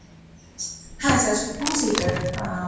হ্যাঁ sir two seat আর আহ ।